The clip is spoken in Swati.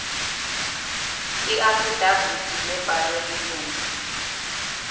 iafidavithi lebhalwe lilunga